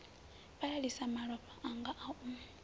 fhalalisa malofha anga a u